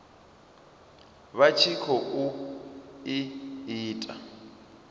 vha tshi khou i ita